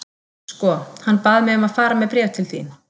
Sko, hann bað mig um að fara með bréf til þín.